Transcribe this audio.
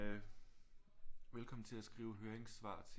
Velkommen til at skrive høringssvar til